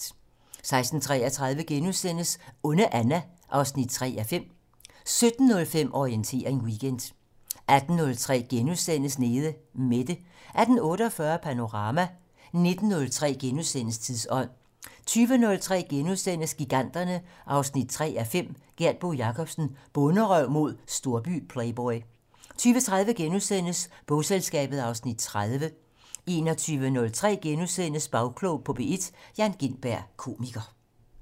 16:33: Onde Anna 3:5 * 17:05: Orientering Weekend 18:03: Nede Mette * 18:48: Panorama 19:03: Tidsånd * 20:03: Giganterne 3:5 - Gert Bo Jacobsen: Bonderøv mod storby-playboy * 20:30: Bogselskabet (Afs. 30)* 21:03: Bagklog på P1: Jan Gintberg, komiker *